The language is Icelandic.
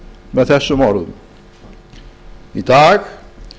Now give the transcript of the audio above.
með þessum orðum í dag